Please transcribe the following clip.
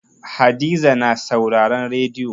Hadiza na sauraren rediyo.